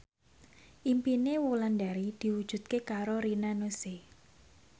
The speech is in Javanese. impine Wulandari diwujudke karo Rina Nose